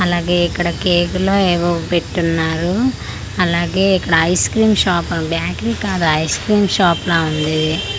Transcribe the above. అలాగే ఇక్కడ కేకు లో ఏవో పెట్టి ఉన్నారు అలాగే ఇక్కడ ఐస్ క్రీమ్ షాప్ బేకరి కాదు ఐస్ క్రీమ్ షాప్ లా ఉంది ఇది.